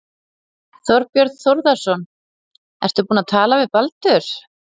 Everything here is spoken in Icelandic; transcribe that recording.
Þorbjörn Þórðarson: Ertu búinn að tala við Baldur?